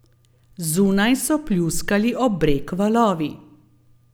Zunaj so pljuskali ob breg valovi.